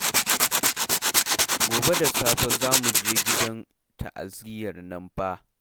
Gobe da safe za mu je gidan ta'aziyyar nan fa